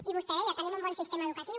i vostè deia tenim un bon sistema educatiu